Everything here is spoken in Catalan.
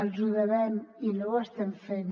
els ho devem i no ho estem fent